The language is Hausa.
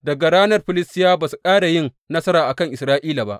Daga ranan Filistiyawa ba su ƙara yin nasara a kan Isra’ila ba.